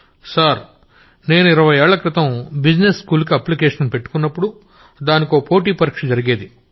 Gaurav sir నేను ఇరవై ఏళ్లక్రితం బిజినెస్ స్కూల్ కి అప్లికేషన్ పెట్టుకున్నప్పుడు దానికో కాంపిటీటివ్ ఎగ్జామ్ జరిగేది